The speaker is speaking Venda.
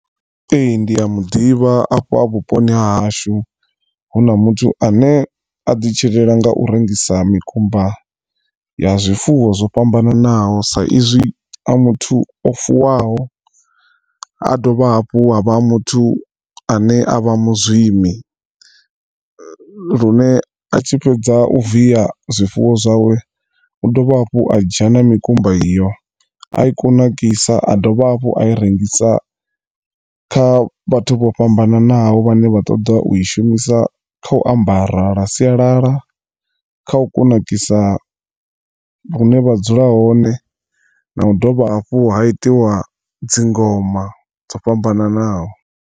Ee ndi a muḓivha afha vhuponi hahashu hu na muthu ane a ḓi tshilela nga u rengisa mikumba ya zwifuwo zwo fhambananaho sa izwi a muthu o fuwaho a dovha hafhu ha vha ha muthu ane a vha muzwimi. Lune a tshi fhedza u via zwifuwo zwawe u dovha hafhu a dzhia na mikumba iyo a i kunakisa a dovha hafhu a i rengisa kha vhathu vho fhambananaho vhane vha ṱoḓa u i shumisa kha u ambara lwa sialala kha u kunakisa hune vha dzula hone na u dovha hafhu ha itiwa dzingoma dzo fhambananaho.